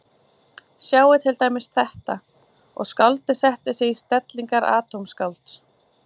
Sjáið til dæmis þetta, og skáldið setti sig í stellingar atómskálds